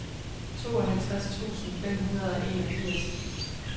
tooghalvtreds tusind fem hundrede og enogfirs